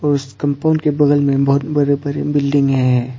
उस कंपाउंड के बगल में बहुत बड़े बड़े बिल्डिंगे है।